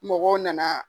Mɔgɔw nana